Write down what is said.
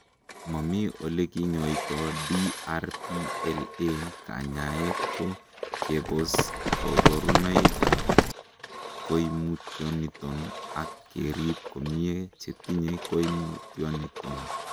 Momi olekinyoito DRPLA; kanyaet ko kebos koborunoikab koimutioniton ak kerib komie chetinye koimutioniton.